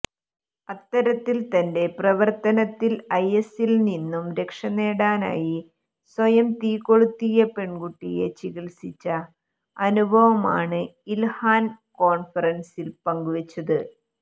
അത്തരത്തിൽ തന്റെ പ്രവർത്തനത്തിൽ ഐഎസിൽ നിന്നും രക്ഷനേടാനായി സ്വയം തീകൊളുത്തിയ പെൺകുട്ടിയ ചികിത്സിച്ച അനുഭവമാണ് ഇൽഹാൻ കോൺഫറൻസിൽ പങ്കുവച്ചത്